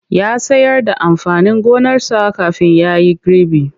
Ya sayar da amfanin gonarsa kafin ya yi gribi.